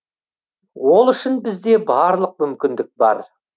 ол үшін бізде барлық мүмкіндік бар